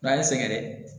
N'an ye sɛgɛn